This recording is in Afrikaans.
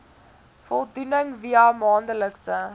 voldoening via maandelikse